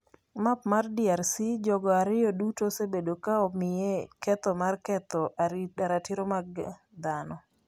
Map mar DRC Jogo ariyo duto osebedo ka omiye ketho mar ketho ratiro mag dhano.